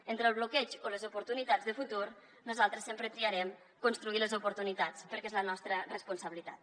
entre el bloqueig o les oportunitats de futur nosaltres sempre triarem construir les oportunitats perquè és la nostra responsabilitat